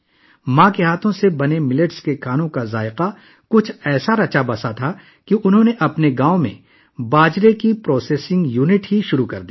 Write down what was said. اپنی والدہ کے ہاتھوں سے بنائے گئے باجرے کا ذائقہ ایسا تھا کہ انہوں نے اپنے گاؤں میں باجرا پروسیسنگ یونٹ شروع کیا